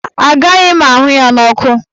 Mba, agaghị m ahụ ya n'ọkụ.